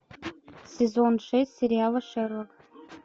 сезон шесть сериала шерлок